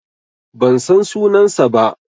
Ban san sunansa ba.